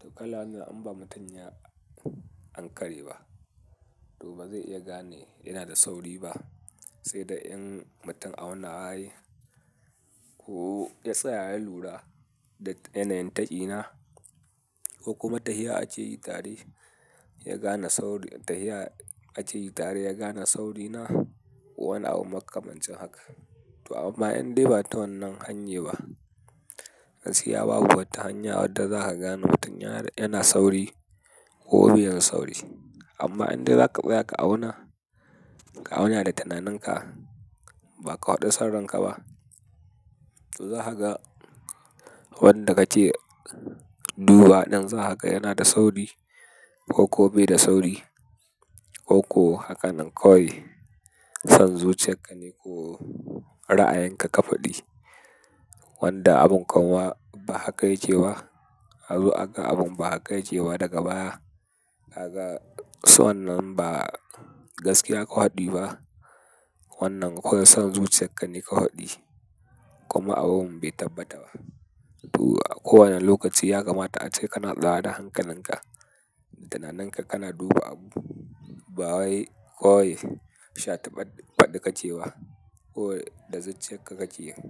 To kala wannan in ba mutum ya ankare ba, to ba zai iya gane ina da sauri ba. Sai da in mutun aunawa yayi ko ya tsaya ya lura da yanayin taƙi na ko kuma ta'ayya ake yi tare ya gane sauri, ta'ayya ake yi tare ya gane sauri na ko wani abu makamancin haka. To amma indai ba ta wannan hanyar ba, gaskiya babu wata hanya wadda za ka gane mutum yana sauri ko bai yin sauri. Amma indai zaka tsaya ka auna, ka auna da tananinka ba ka faɗu sanranka ba, to za ka ga wanda ka ce duba ɗan za ka ga yana da sauri ko ko bai da sauri ko ko hakanan kawai son zuciyarka ne ko ra'ayanka ka faɗi wanda abun kanwa ba haka yake ba. Azo aga abun ba haka yake ba daga baya, aga son nan ba gaskiya ka faɗi ba. Wannan koyi son zuciyarka ka haɗi kuma abun bai tabbata ba. To ko wannan lokaci ya kamata ace kana tsada hankalinka da tananinka kana duba abu ba wai koyi sha taɓaɗi ka ce wa ko da zuciyar ka ka yi.